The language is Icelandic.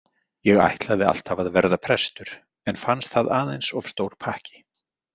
Ég ætlaði alltaf að verða prestur en fannst það aðeins of stór pakki